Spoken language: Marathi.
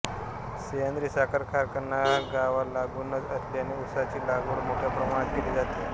सह्याद्री साखर कारखाना गावालागूनच असल्याने उसाची लागवड मोठ्या प्रमाणात केली जाते